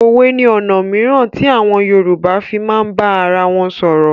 Òwe ni ọ̀nà mìíràn tí àwọn Yorùbá fii máa ń bá arawọn sọ̀rọ̀.